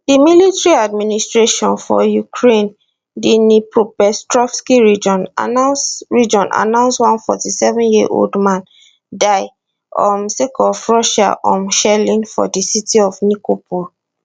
di military administration for ukraine dnipropetrovsk region announce region announce one 47yearold man die um sake of russian um shelling for di city of nikopol